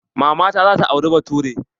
Maman ta za ta auri bature.